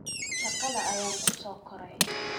Shaqada ayaan ku soo koray